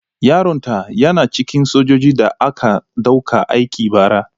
Yaron ta yana cikin sojojin da aka ɗauka aiki bara.